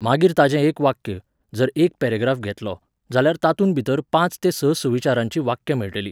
मागीर ताचें एक वाक्य, जर एक पेरॅग्राफ घेतलो, जाल्यार तातूंत भितर पांच ते स सुविचाराचीं वाक्यां मेळटलीं.